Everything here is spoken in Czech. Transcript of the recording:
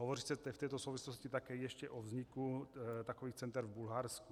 Hovoří se v této souvislosti také ještě o vzniku takových center v Bulharsku.